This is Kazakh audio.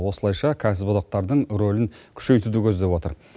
осылайша кәсіподақтардың рөлін күшейтуді көздеп отыр